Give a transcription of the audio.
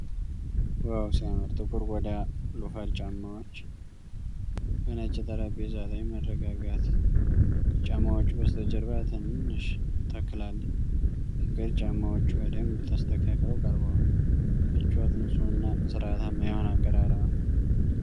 ዋው ሲያምር! ጥቁር ቆዳ ሎፈር ጫማዎች በነጭ ጠረጴዛ ላይ። መረጋጋት። ከጫማዎቹ በስተጀርባ ትንሽ ተክል አለ። ፍቅር። ጫማዎቹ በደንብ ተስተካክለው ቀርበዋል። ምቾት። ንፁህና ሥርዓታማ የሆነ አቀራረብ ነው።